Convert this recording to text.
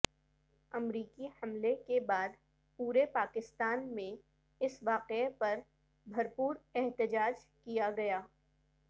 امریکی حملے کے بعد پورے پاکستان میں اس واقعے پر بھرپور احتجاج کیا گیا